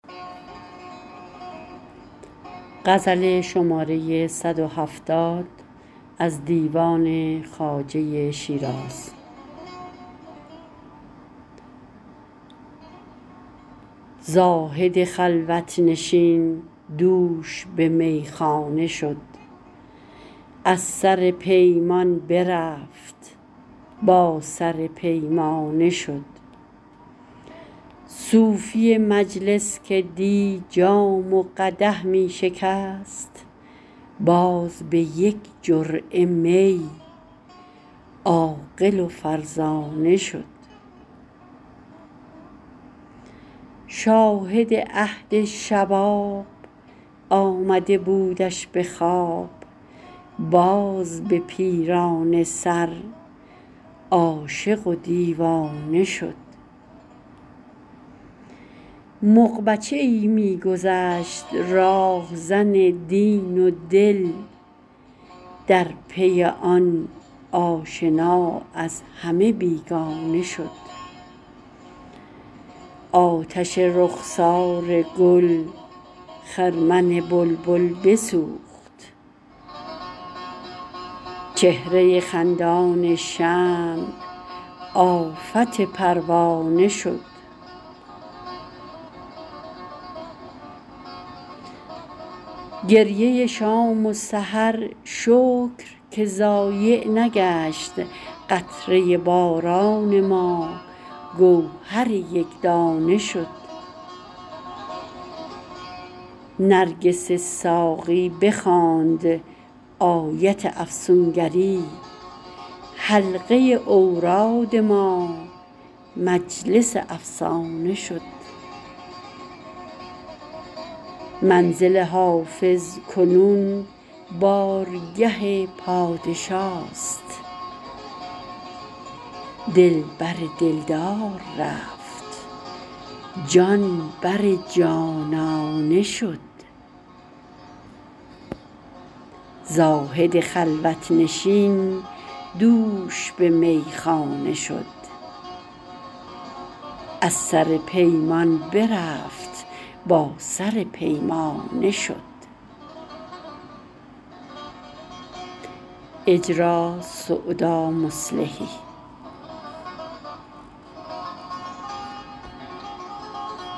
زاهد خلوت نشین دوش به میخانه شد از سر پیمان برفت با سر پیمانه شد صوفی مجلس که دی جام و قدح می شکست باز به یک جرعه می عاقل و فرزانه شد شاهد عهد شباب آمده بودش به خواب باز به پیرانه سر عاشق و دیوانه شد مغ بچه ای می گذشت راهزن دین و دل در پی آن آشنا از همه بیگانه شد آتش رخسار گل خرمن بلبل بسوخت چهره خندان شمع آفت پروانه شد گریه شام و سحر شکر که ضایع نگشت قطره باران ما گوهر یک دانه شد نرگس ساقی بخواند آیت افسون گری حلقه اوراد ما مجلس افسانه شد منزل حافظ کنون بارگه پادشاست دل بر دل دار رفت جان بر جانانه شد